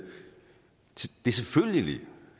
selvfølgelig